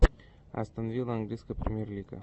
астон вилла английская премьер лига